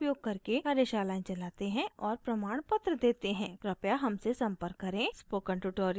हम spoken tutorials का उपयोग करके कार्यशालाएं चलाते हैं और प्रमाणपत्र देते हैं कृपया हमसे संपर्क करें